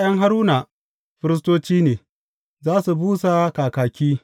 ’Ya’yan Haruna, firistoci ne, za su busa kakaki.